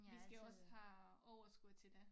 Vi skal også have overskud til det